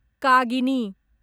कागिनी